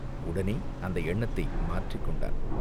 உடனே அந்த எண்ணத்தை மாற்றிக் கொண்டான்.